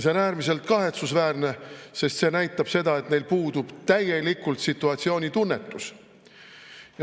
See on äärmiselt kahetsusväärne, sest see näitab, et neil puudub täielikult situatsioonitunnetus.